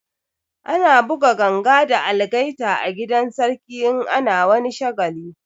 Ana buga ganga da algaita a gidan sarki in ana wani shagali